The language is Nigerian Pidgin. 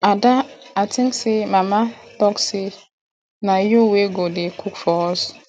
ada i think say mama talk say na you wey go dey cook for us